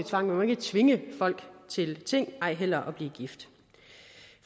tvang man må ikke tvinge folk til ting ej heller at blive gift